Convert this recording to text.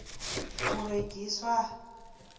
u rengiswa ha